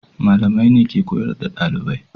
Malamai ne ke koyar da dalibai.